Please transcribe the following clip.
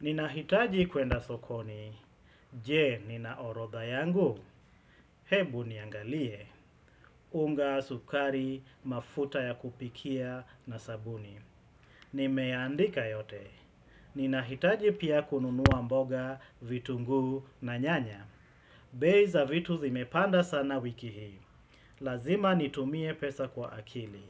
Ninahitaji kwenda sokoni, je ninaorodha yangu, hebu niangalie, unga, sukari, mafuta ya kupikia na sabuni. Nimeandika yote, ninahitaji pia kununua mboga, vitungu na nyanya. Bei za vitu zimepanda sana wiki hii, lazima nitumie pesa kwa akili,